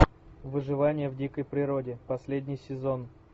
выживание в дикой природе последний сезон